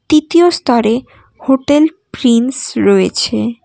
তিতীয় স্তরে hotel Prince রয়েছে।